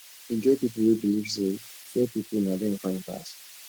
e get pipo wey believe say fair pipo na dem fine pass